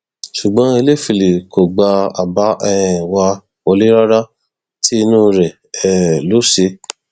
ṣùgbọn ẹlẹfẹlẹ kò gba àbá um wa wọlẹ rárá tí inú rẹ um ló ṣe